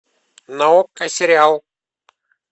на окко сериал